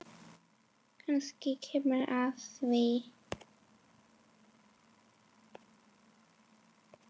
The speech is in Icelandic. Kannski kemur að því.